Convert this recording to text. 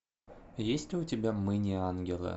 есть ли у тебя мы не ангелы